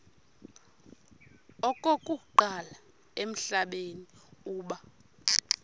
okokuqala emhlabeni uba